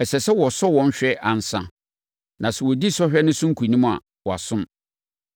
Ɛsɛ sɛ wɔsɔ wɔn hwɛ ansa, na sɛ wɔdi sɔhwɛ no so nkonim a, wɔasom.